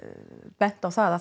bent á það að